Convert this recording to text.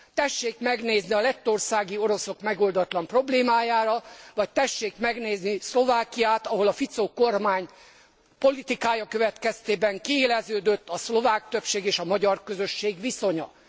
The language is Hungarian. Tessék megnézni a lettországi oroszok megoldatlan problémáját, vagy tessék megnézni Szlovákiát, ahol a Fico kormány politikája következtében kiéleződött a szlovák többség és a magyar közösség viszonya.